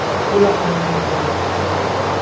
Puli ham, imkoniyatlari ham bor.